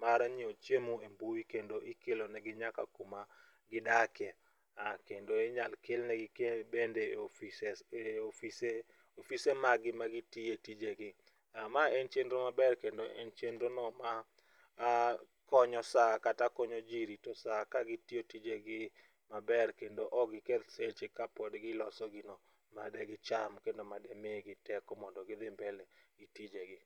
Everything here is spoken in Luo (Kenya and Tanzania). mar nyiewo chiemo e mbui kendo ikelo ne gi nyaka kuma gidakie kendo inyal kelnegi bende offices ofise mag gi magitiye tije gi. Mae en cheno maber kendo en chenro no ma konyo saa kata konyo ji rito saa kagitiyo tijegi maber kendo ok giketh seche kapod giloso gino made gicham kendo madimigi teko mondo gidhi mbele gitije gi.